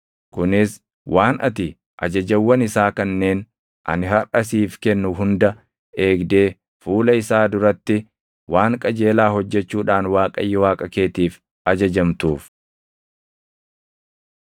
kunis waan ati ajajawwan isaa kanneen ani harʼa siif kennu hunda eegdee fuula isaa duratti waan qajeelaa hojjechuudhaan Waaqayyo Waaqa keetiif ajajamtuuf.